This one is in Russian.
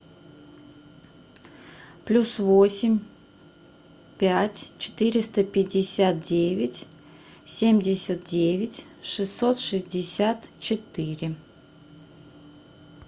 плюс восемь пять четыреста пятьдесят девять семьдесят девять шестьсот шестьдесят четыре